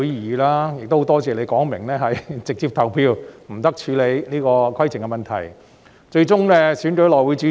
我亦很感謝當時主席表明應直接投票，不得處理規程問題，最終順利選出內會主席。